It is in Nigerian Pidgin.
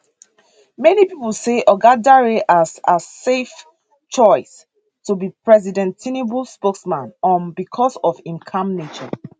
many pipo say oga dare as as safe choice to be president tinubu spokesman um becos of im calm nature